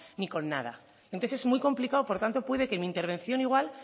ni con nada entonces es muy complicado por tanto puede que mi intervención igual